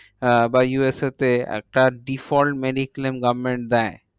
আহ বা U S A তে একটা default mediclaim government দেয়।